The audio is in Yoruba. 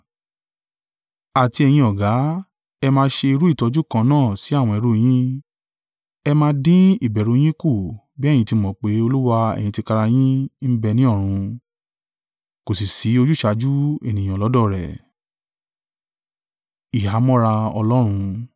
Àti ẹ̀yin ọ̀gá, ẹ máa ṣe irú ìtọ́jú kan náà sí àwọn ẹrú yin, ẹ máa dín ìbẹ̀rù yín kù bí ẹ̀yin ti mọ̀ pé Olúwa ẹ̀yin tìkára yín ń bẹ ní ọ̀run; kò sì ṣí ojúsàájú ènìyàn lọ́dọ̀ rẹ̀.